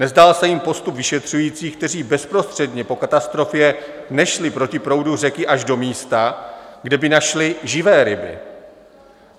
Nezdál se jim postup vyšetřujících, kteří bezprostředně po katastrofě nešli proti proudu řeky až do místa, kde by našli živé ryby.